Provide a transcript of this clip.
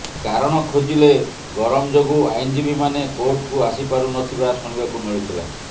କାରଣ ଖୋଜିଲେ ଗରମ ଯୋଗୁଁ ଆଇନ୍ଜୀବୀମାନେ କୋର୍ଟକୁ ଆସିପାରୁନଥିବା ଶୁଣିବାକୁ ମିଳୁଥିଲା